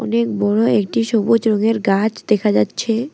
অনেক বড়ো একটি সবুজ রঙের গাছ দেখা যাচ্ছে।